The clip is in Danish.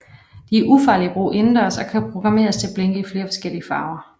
De er ufarlige at bruge indendørs og kan programmeres til at blinke i flere forskellige farver